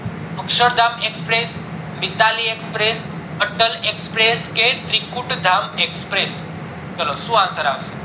Akshardham express, Mitali express, Atal express, કે Trikutdham express ચલો શું answer આવશે